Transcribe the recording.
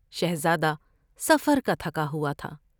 شہزادہ سفر کا تھکا ہوا تھا ۔